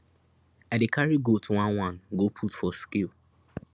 i dey carry goat oneone go put for scale